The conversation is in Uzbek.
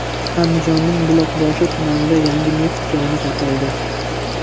Andijonning Buloqboshi tumanida yangi neft koni topildi.